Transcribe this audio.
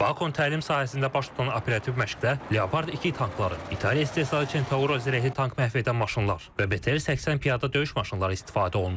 Bakon təlim sahəsində baş tutan operativ məşqdə Leopard 2 tankları, İtaliya istehsalı Centauro zirehli tank məhv edən maşınlar və BTR 80 piyada döyüş maşınları istifadə olunub.